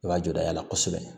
I b'a jɔ a la kosɛbɛ